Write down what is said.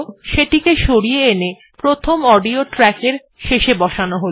সেটিকে সরিয়ে এনে প্রথম অডিও ট্র্যাক এর শেষে বসান হল